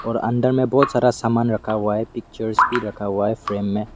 और अंदर में बहुत सारा सामान रखा हुआ है पिक्चर्स भी रखा हुआ है फ्रेम में।